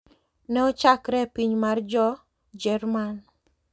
Ne ochakre e piny mar jo Jerman.